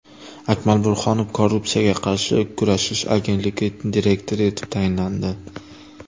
Akmal Burhonov Korrupsiyaga qarshi kurashish agentligi direktori etib tayinlandi.